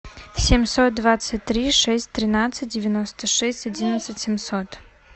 семьсот двадцать три шесть тринадцать девяносто шесть одиннадцать семьсот